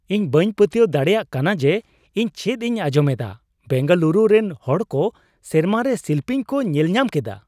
ᱤᱧ ᱵᱟᱹᱧ ᱯᱟᱹᱛᱭᱟᱹᱣ ᱫᱟᱲᱮᱭᱟᱜ ᱠᱟᱱᱟ ᱡᱮ ᱤᱧ ᱪᱮᱫ ᱤᱧ ᱟᱸᱡᱚᱢ ᱮᱫᱟ ! ᱵᱮᱝᱜᱟᱞᱩᱨᱩ ᱨᱮᱱ ᱦᱚᱲ ᱠᱚ ᱥᱮᱨᱢᱟ ᱨᱮ ᱥᱤᱞᱯᱤᱧ ᱠᱚ ᱧᱮᱞᱧᱟᱢ ᱠᱮᱫᱟ ᱾